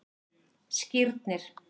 Skírnir